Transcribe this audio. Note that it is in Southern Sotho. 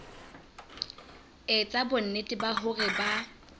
etsa bonnete ba hore ba